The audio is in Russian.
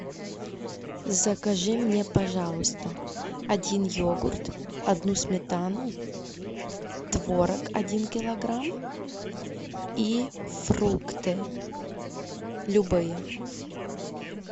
закажи мне пожалуйста один йогурт одну сметану творог один килограмм и фрукты любые